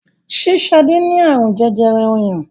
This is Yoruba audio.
ṣe Sade ní arun jẹjẹrẹ ọyàn?